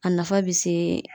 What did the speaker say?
A nafa be se